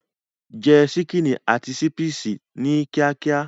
Jẹ ṣíkìnì àti ṣípìsì náà kíákíá.